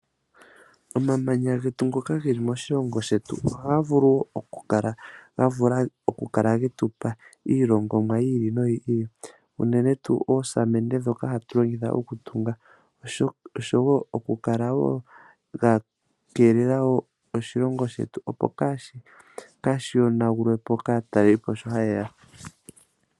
Omamanya getu ngoka geli moshilongo shetu ohagavulu okukala getupa iilongomwa yi ili noyi ili uunene tu oosamende dhoka hatulongitha okutunga osho wo okukaka wo gakelela wo oshilongo shetu opo kashiyonagulwe po kaataleli po sho hayeya.